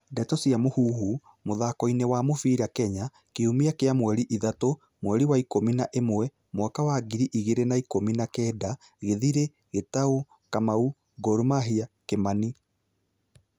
Ndeto cia Mũhuhu, mũthakoini wa mũbĩra Kenya, Kiumia kia mweri ithatũ, mweri wa ikũmi na ĩmwe, mwaka wa ngiri igĩrĩ na ikumi na kenda:Githiri, Gitau, Kamau, Gor mahia, Kimani